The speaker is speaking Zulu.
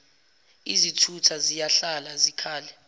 izithutha ziyahlala zikhale